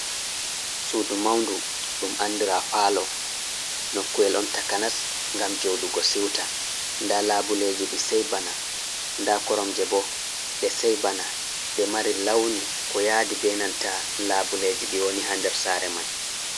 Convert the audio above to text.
Sudu maundu ɗum andira palo. Nokkuwel on takanas ngam joɗugo siwta. Nda labuleji ɗi sey bana, nda koromje bo ɗe sey bana, nde mari launi ko yadi benanta labuleji ɗi woni ha nder sare man.